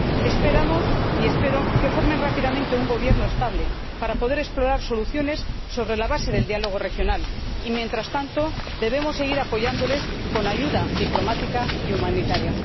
Esperamos —y espero— que formen rápidamente un gobierno estable para poder explorar soluciones sobre la base del diálogo regional y, mientras tanto, debemos seguir apoyándoles con ayuda diplomática y humanitaria.